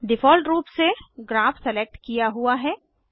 default रूप से graph select किया हुआ है